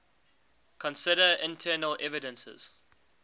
consider internal evidences